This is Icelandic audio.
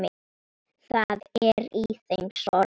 Það er í þeim sorg.